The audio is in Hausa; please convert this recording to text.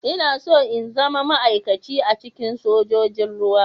Ina so in zama ma'aikaci a cikin sojojin ruwa.